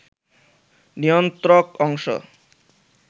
নিয়ন্ত্রক অংশ